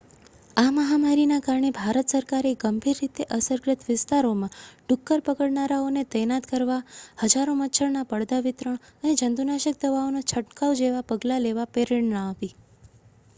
આ મહામારીના કારણે ભારત સરકારે ગંભીર રીતે અસરગ્રસ્ત વિસ્તારોમાં ડુક્કર પકડનારાઓને તૈનાત કરવા હજારો મચ્છરના પડદા વિતરણ અને જંતુનાશક દવાઓનો છંટકાવ જેવા પગલાં લેવા પ્રેરણા આપી છે